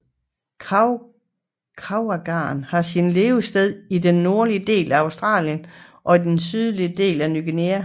Kraveagam har sine levesteder i den nordlige del af Australien og i den sydlige del af Ny Guinea